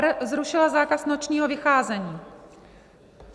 r) zrušila zákaz nočního vycházení.